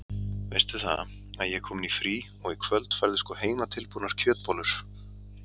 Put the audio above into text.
Veistu það að ég er komin í frí og í kvöld færðu sko heimatilbúnar kjötbollur.